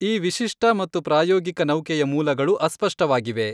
ಈ ವಿಶಿಷ್ಟ ಮತ್ತು ಪ್ರಾಯೋಗಿಕ ನೌಕೆಯ ಮೂಲಗಳು ಅಸ್ಪಷ್ಟವಾಗಿವೆ.